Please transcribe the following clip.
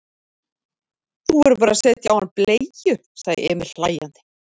Þú verður bara að setja á hann bleiu, sagði Emil hlæjandi.